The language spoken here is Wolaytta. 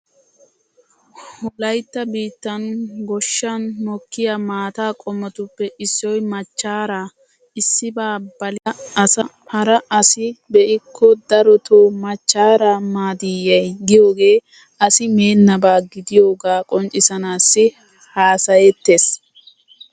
Wolaytta biittan goshshan mokkiya maata qommotuppe issoy machchaaraa. Issibaa balida asa hara asi be'ikko darotoo machchaaraa maadiiyyee giyogee asi meennaba gidiyogaa qonccissanaassi haasayettees.